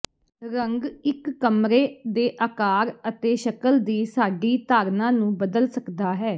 ਰੰਗ ਇੱਕ ਕਮਰੇ ਦੇ ਆਕਾਰ ਅਤੇ ਸ਼ਕਲ ਦੀ ਸਾਡੀ ਧਾਰਨਾ ਨੂੰ ਬਦਲ ਸਕਦਾ ਹੈ